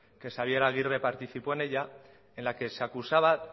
que xabier agirre participó en ella en la que se acusaba